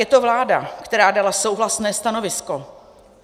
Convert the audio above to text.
Je to vláda, která dala souhlasné stanovisko.